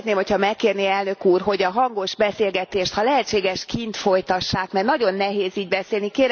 kérek, szeretném, hogyha megkérné elnök úr, hogy a hangos beszélgetést, ha lehetséges kint folytassák, mert nagyon nehéz így beszélni.